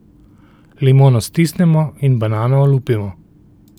Limono stisnemo in banano olupimo.